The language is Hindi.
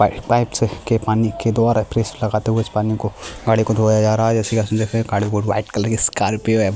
प पाइप से के पानी के द्वारा प्रेस लगाते हुए इस पानी को गाड़ी को धोया जा रहा है गाड़ी को वाइट_कलर की स्कार्पियो है।